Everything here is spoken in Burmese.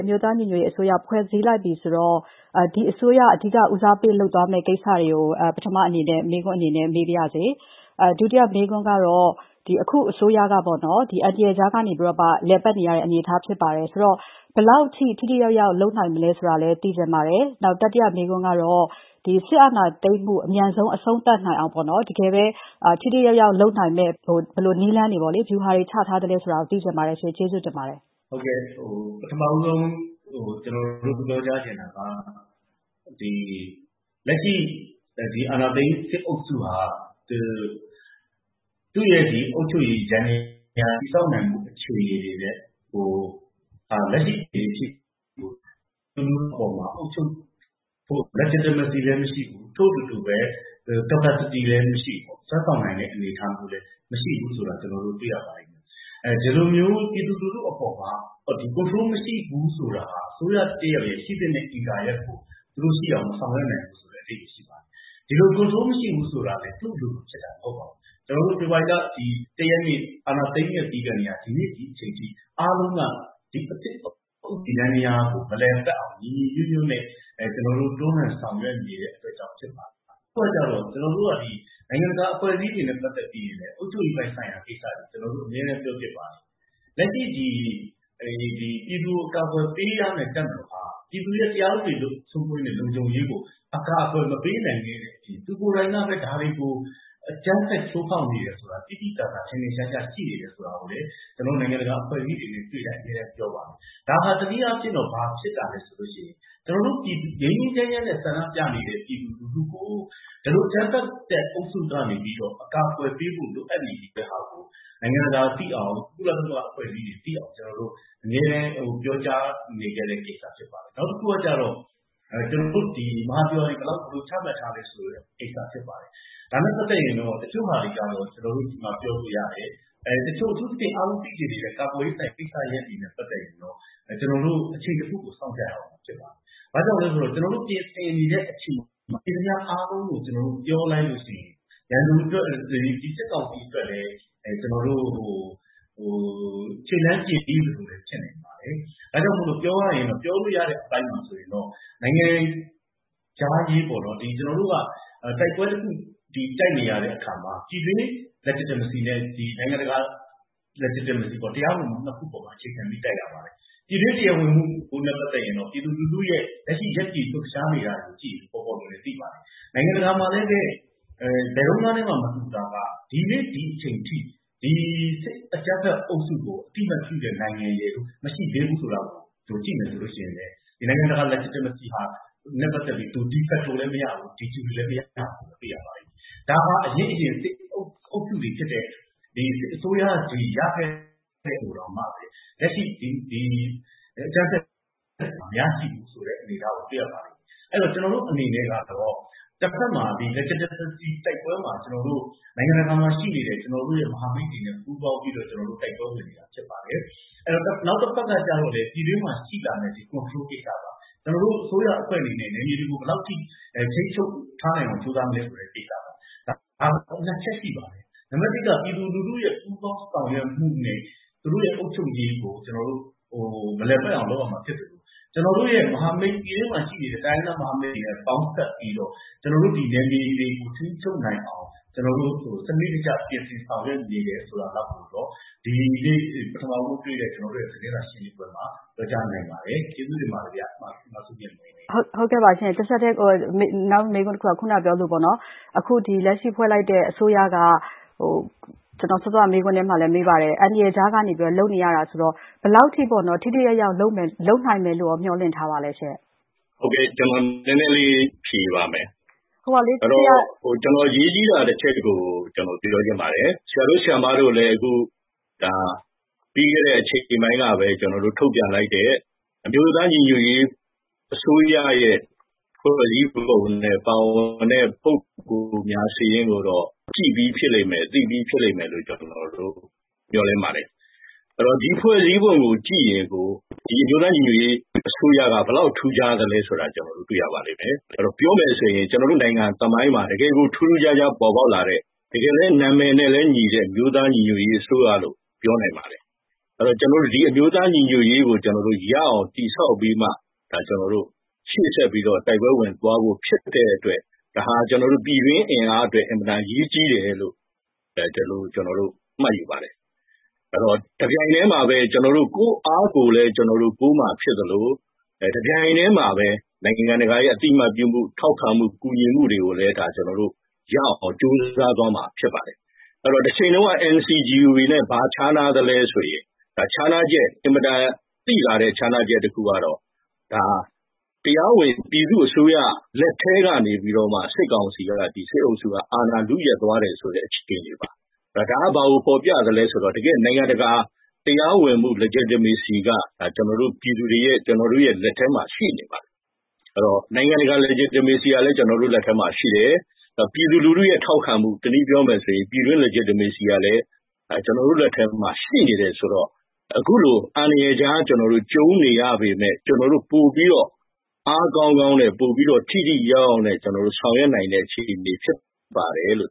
အမျိုးသားညီညွတ်ရေးအစိုးရဖွဲ့ လိုက်ပြီဆိုတော့ ဒီအစိုးရ အဓိက ဦးစားပေးလုပ်သွားမယ့် ကိစ္စတွေကို မှာ အရင်ဆုံးပြောပြပေးပါ။ အဲဒုတိယမေးခွန်းကတော့ အခုအစိုးရကတော့ အန္တရာယ်ကြားက လည်ပတ်နေရတဲ့အစိုးရဖြစ်ပါတယ်။ ဆိုတော့ ဘယ်လောက်အထိ ထိထိရောက်ရောက်လုပ်နိုင်မယ်ထင်ပါသလဲ။ တတိယမေးခွန်းကတော့ စစ်အာဏာသိမ်းမှု အမြန်ဆုံး အဆုံးသတ်နိုင်အောင် တကယ်ပဲ ထိထိရောက်ရောက်လုပ်နိုင်တဲ့ နည်းလမ်းတွေချထားသလဲဆိုတာသိချင်ပါတယ်။ ဟုတ်ကဲ့ ပထမဆုံး ကျနော်တို့ပြောချင်တာက လက်ရှိ အာဏာသိမ်း စစ်အုပ်စုဟာ သူရဲ့အုပ်ချုပ်မှုယန္တယားတည်ဆောက်နိုင်ဖို့ လက်ရှိအခြေအနေထိ အုပ်ချုပ်ဖို့ Legitimacy မရှိ ထိုအတူပဲ. Capacity လည်းမရှိ ။ ဆွဲဆောင်နိုင်တာတွေလည်း မရှိတာ ကျနော်တို့တွေ့ရပါတယ်။ ဒီလိုမျိုး ပြည်သူလူထု့အပေါ်မှာ Control မရှိဘူးဆိုတာ အစိုးရတရပ်ရဲ့ ရှိသင့်တဲ့ အင်္ဂါရပ်ကို သူတို့မဆောင်ရွက်နိုင်ဘူး။ ဒီလို Control မရှိဘူးဆိုတာ သူဖာသာဖြစ်တာမဟုတ်ပါဘူး။ ဖေဖော်ဝါရီလ ၁ ရက်နေ့ အာဏာသိမ်းခဲ့ပြီးကတည်းက ဒီနေ့အချိန်ထိ အားလုံးက ဒီအသစ်ယန္တယားမလည်ပတ်နိုင်အောင် ညီညီညွတ်ညွတ်နဲ့ တွန်းလှန်ဆောင်ရွက်နေတဲ့အတွက်ကြောင့်ဖြစ်ပါတယ်။ အခုကကြတော့ ကျနော်တို့က နိုင်ငံတကာအဖွဲံ့အစည်းတွေနဲ့ ပတ်သက်ပြီး အုပ်ချုပ်ရေးရာ ကိစ္စတွေကို ကျနော်တို့အမြဲတန်းပြောဖြစ်ပါတယ်။ လက်ရှိပြည်သူကိုအကာကွယ်ပေးရမဲ့ တပ်မတော်ဟာပြည်သူရဲ့ တရားဥပဒေထုထောင်ရေးနဲ့ လုံခြုံရေးကို အကာကွယ်မပေးနိုင်ခဲ့တဲ့အပြင် သူကိုယ်တိုင်ကပဲ အကြမ်းဖက်ချိုးဖောက်နေတယ်ဆိုတာ သိသိသာသာ ထင်ထင်ရှားရှားရှိတယ်ဆိုတာ ကျနော်တု့ိအမြဲတန်းပြောဖြစ်ပါတယ်။ ဒါဟာတနည်းအားဖြစ် ဘာဖြစ်နေလဲဆိုတော့ ငြိမ်းငြိမ်းချမ်းချမ်းနဲ့ ဆန္ဒပြနေတဲ့ ပြည်သူလူထု့ကို ဒီလို အကြမ်းအုပ်စုကနေ အကာကွယ်ပေးဖို့လိုအပ်နေပြီဆိုတာ နိုင်ငံတကာသိအောင် ကုလသမဂ္ဂအဖွဲ့အစည်းတွေသိအောင် အမြဲတန်းပြောကြားနေတဲ့ကိစ္စဖြစ်ပါတယ်။ နောက်တခုကတော့ ကျနော်တို့ မဟာဗျူဟာတွေ ဘယ်လောက်ချမှတ်ထားသလဲဆိုတာ ဒါနဲ့ပတ်သက်လို့ တချို့ဟာတွေကို ကျနော်တို့ ဒီမှာ ပြောလို့ရတယ်။ အထူးသဖြင့် အားလုံးသိချင်ကြတဲ့ ကာကွယ်ရေးဆိုင်ရာကိစ္စရပ်တွေနဲ့ပတ်သက်ရင် ကျနော်တို့အချိန်တခုစောင့်ရမှာဖြစ်ပါတယ်။ ဘာကြောင့်လဲဆိုတော့ ကျနော်တို့ပြင်ဆင်နေတာတွေအားလုံးကို ပြောလိုက်လို့ရှိရင်ရန်သူအတွက် ဒီစစ်ကောင်စီအတွက်လည်း ခြေလှမ်းပြင်ပြီလို့လည်း ဖြစ်နိုင်ပါတယ်။ ပြောလို့ရတဲ့အပိုင်းမှာတော့ နိုင်ငံဲခြာရေးပေါ့ ။ တိုက်ပွဲတခု တိုက်နေတဲ့အခါမှာ ပြည်တွင်း Legitimacyနဲ့ နိုင်ငံတကာ Legitimacy ပေါ့ တရားဝင်မှုကို အခြေခံတိုက်နေရတာ။ ပြည်တွင်း တရားဝင်မှုမှာတော့ ပြည်သူလူထုရဲ့ လက်ရှိရပ်တည်လှုပ်ရှားနေတာကို ကြည့်ရင်သိသာပါတယ်။ နိုင်ငံတကာမှာလည်းပဲ ဘယ်တုံးကနဲ့မှ မတူတာက ဒီနေ့ဒီအချိန်အထိ ဒီစစ်အကြမ်းဖက်အုပ်စုကို ဘယ်နိုင်ငံမှကမှ အသိအမှတ်ပြုမှုမရှိဘူးဆိုတာ ကြည့်မယ်ဆိုရင် နိုင်ငံတကာ Legitimacy နဲ့ပတ်သက်ရင် Defecto လည်းမရ Dejure မရပါဘူး။ ဒါဟာအရင်ရင် စစ်အုပ်စုတွေရခဲ့တာတောင် လက်ရှိအကြမ်းဖက်သူတွေမရခဲ့ဘူးဆိုတာပါပဲ။ ကျနော်တို့အနေနဲ့က တဖက်မှာ Legitimacy တိုက်ပွဲမှာ နိုင်ငံတကာမှာရှိတဲ့ ကျနော်တို့ရဲ့ မဟာမိတ်တွေနဲ့ ပူးပေါင်းတိုက်ပွဲဝင်နေတာဖြစ်ပါတယ်။ နောက်တဖက်ကလည်း ကျနော်တို့ ပြည်တွင်းမှာရှိနေတဲ့ Control ကိစ္စပါပဲ။ ကျနော်တို့အစိုးရအဖွဲ့အနေနဲ့ နယ်မြေတွေကို ဘယ်လောက်အထိထိန်းချုပ်ထားနိုင်အောင် ကြိုးစားမလဲဆိုတဲ့ကိစ္စပါပဲ။ ဒါက ၂ ချက်ရှိပါတယ်။ ၁ ကတော့ ပြည်သူလူထု့ရဲ့ ပူးပေါင်းဆောင်ရွက်မှုနဲ့ သူတို့ရဲ့ အုပ်ချုပ်ရေးကို မလည်ပတ်အောင်လုပ်ရမှာဖြစ်ပါတယ်။ ပြည်တွင်းမှာရှိနေတဲ့ တိုင်းရင်းသားမဟာမိတ်တွေနဲ့ ပေါင်းစပ်ပြီးတော့ ကျနော်တို့နယ်မြေတွေကို ထိန်းချုပ်နိုင်အောင် ကျနော်တို့ စနစ်တကျပြင်ဆင်ဆောင်ရွက်နေတာဆိုတာကိုတော့ ပြောကြားနိုင်ပါတယ်။ ကျေးဇူးပါ မဆုမြတ်မွန်ခင်ဗျာ။ အခုနကမေးထားသလိုပါပဲ။ အခုလက်ရှိဖွဲ့လိုက်တဲ့ အစိုးရက အန္တရာယ်ကြားက ဖွဲ့ရတာဆိုတော့ ဘယ်လောက်အထိ ထိထိရောက်ရောက်ဖြစ်အောင်လုပ်နိုင်မယ်ထင်သလဲ။ ကျနော် အရေးကြီးတာတချက်ကိုလည်း ကျနော်ပြောချင်ပါတယ်။ ဆရာတို့ ဆရာမတို့လည်း ပြီးခဲ့တဲ့ အချိန်ပိုင်းက ထုတ်ပြန်လိုက်တဲ့ အမျိုးသားညီညွတ်ရေးအစိုးရရဲ့ ဖွဲ့စည်းပုံနဲ့ ပါဝင်တဲ့ ပုဂ္ဂိုလ်များစာရင်းကို ကြည့်ပြီးလိမ့်မယ် သိပြီးဖြစ်မယ်လို့ ကျနော်မျှော်လင့်ပါတယ်။ ဒီဖွဲ့စည်းပုံကိုကြည့်ရင်ကို ဒီအမျိုးသားညီညွတ်ရေးအစိုးရက ဘယ်လောက်ထူးခြားသလဲဆိုတာကို တွေ့ရပါလိမ့်မယ်။ ပြောမယ်ဆိုရင် ကျနော်တို့နိုင်ငံသမိုင်းမှာ ပေါ်ပေါက်လာတဲ့ တကယ်ထူးထူးခြားခြားကို ပေါ်ပေါက်လာတဲ့ တကယ်လည်း နာမည်နဲ့ညီတဲ့ အမျိုးသားညီညွတ်ရေး အစိုးရလို့ ပြောနိုင်ပါတယ်။ ကျနော်တို့ အမျိုးသားညီညွတ်ရေးကို တည်ဆောက်ပြီးမှ ရှေ့ဆက်ပြီး တိုက်ပွဲဝင်သွားဖို့ဖြစ်တဲ့အတွက် ဒါဟာပြည်တွင်းအင်အားအတွက် အင်မတန်အရေးကြီးတယ်လို့ မှတ်ယူပါတယ်။ တပြိုင်တည်းမှာလည်း ကျနော်တို့ ကိုယ်အားကိုယ်လည်း ကိုးမှာဖြစ်သလို တပြိုင်တည်းမှာလည်း နိုင်ငံတကာရဲ့ အသိအမှတ်ပြုမှု ထောက်ခံမှု ကူညီမှုတွေကိုလည်း ရအောင်ကြိုစားမှာဖြစ်ပါတယ်။ တချိန်တုံး က NCGUB နဲ့ ဘာခြားနားလဲဆိုရင် အင်မတန်သိသာတဲ့ ခြားနားချက်တခုကတော့ တရားဝင် ပြည်သူ အစိုးရလက်ကနေ စစ်ကောင်စီက စစ်အုပ်စုကနေ အာဏာလု့ယက်သွားတဲ့အခြေအနေပါ။ဒါကဘာကိုဖော်ပြသလဲဆိုရင် နိုင်ငံတကာ တရားဝင်မှု Legitimacy ကျနော်တို့လက်ထဲမှာရှိပါတယ်။ နိုင်ငံတကာ Legitimacy လည်း ကျနော်တို့လက်ထဲမှာရှိတယ်။ ပြည်သူလူထုထောက်ခံမှု ပြည်တွင်း Legitimacy လည်း ရှိနေတယ်ဆိုတော့ အခုလို အန္တရာယ်ကြားရှိနေတော့ ကျနော်တို့ ပိုပြီးတော့ အားကောင်းကောင်းနဲ့ ထိထိရောက်ရောက်ဆောင်ရွက်နိုင်တဲ့အခြေအနေဖြစ်ပါတယ်လို့